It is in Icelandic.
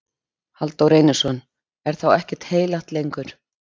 Halldór Reynisson: Er þá ekkert heilagt lengur?